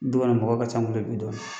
Bi kɔni mɔgɔ ka ca